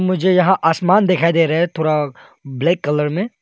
मुझे यहाँ आसमान दिखाई दे रहे हैं थोरा ब्लैक कलर में--